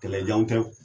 Kɛlɛjanw tɛ